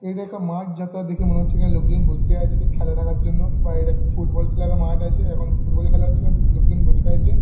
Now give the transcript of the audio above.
এইটা একটা মাঠ যতটা দেখে মনে হচ্ছে । এইখানে লোকজন বসে আছে খেলা দেখার জন্য বা এইটা ফুট বল খেলার মাঠ আছে । এখন ফুট বল খেলা হচ্ছে না তো লোকজন বসে আছে ।